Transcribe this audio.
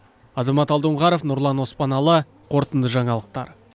азамат алдонғаров нұрлан оспаналы қорытынды жаңалықтар